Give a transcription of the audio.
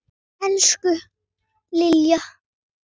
Elsku Lilja.